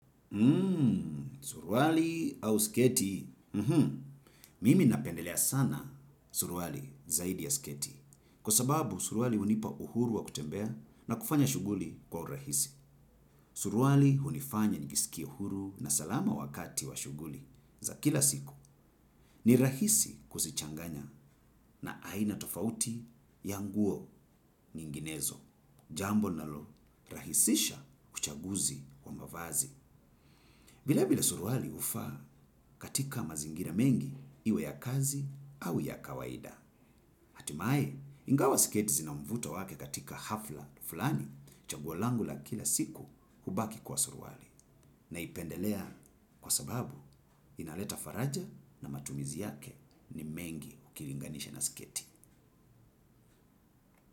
Hmm, suruali au sketi. Mimi napendelea sana suruali zaidi ya sketi. Kwa sababu suruali hunipa uhuru wa kutembea na kufanya shughuli kwa urahisi. Suruali hunifanya nijiskie huru na salama wakati wa shughuli za kila siku. Ni rahisi kuzichanganya na aina tofauti ya nguo nyinginezo. Jambo linalo rahisisha uchaguzi wa mavazi. Vila vile suruali hufa katika mazingira mengi iwe ya kazi au ya kawaida. Hatimae, ingawa sketi zinamvuto wake katika hafla fulani chaguo langu la kila siku hubaki kuwa suruali. Na ipendelea kwa sababu inaleta faraja na matumizi yake ni mengi ukilinganisha na sketi.